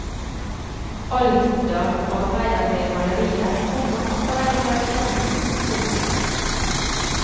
Aldar arbeider med malerier, komma akvareller og keramikk. punktum